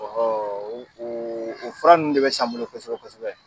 Ɔ hoo kooko o fura ninnu de be san n bolo kosɛbɛ kosɛbɛ